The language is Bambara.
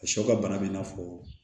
A sɔ ka bana bɛ i n'a fɔ